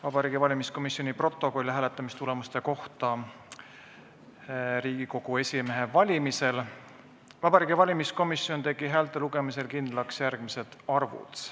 Vabariigi Valimiskomisjoni protokoll hääletamistulemuste kohta Riigikogu esimehe valimisel: "Vabariigi Valimiskomisjon tegi häälte lugemisel kindlaks järgmised arvud.